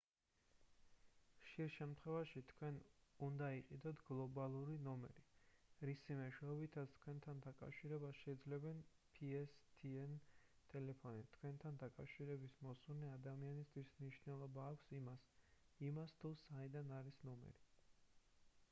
ხშირ შემთხვევაში თქვენ უდა იყიდოთ გლობალური ნომერი რისი მეშვეობითაც თქვენთან დაკავშირებას შეძლებენ pstn ტელეფონით თქვენთან დაკავშირების მოსურნე ადამიანებისთვის მნიშვნელობა აქვს იმას იმას თუ საიდან არის ნომერი